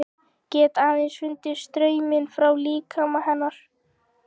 Get aðeins fundið strauminn frá líkama hennar.